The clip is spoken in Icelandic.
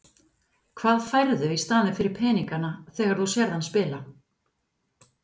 Hvað færðu í staðinn fyrir peningana þegar þú sérð hann spila?